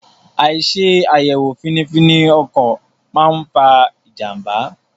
Àìṣe àyẹ̀wò fínífíní ọkọ̀ máa fa ìjànbá.